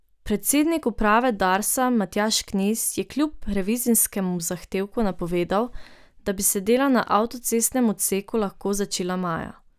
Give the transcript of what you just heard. Predsednik uprave Darsa Matjaž Knez je kljub revizijskemu zahtevku napovedal, da bi se dela na avtocestnem odseku lahko začela maja.